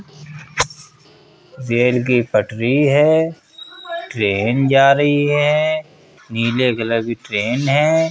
Rail की पटरी है। ट्रेन जा रही है। नीले कलर की ट्रेन है।